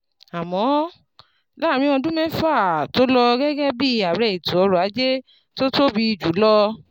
Àmọ́, láàárín ọdún mẹ́fà tó lò gẹ́gẹ́ bí ààrẹ ètò ọrọ̀ ajé tó tóbi jù lọ